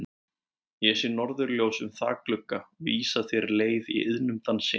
Ég sé norðurljós um þakglugga vísa þér leið í iðnum dansi.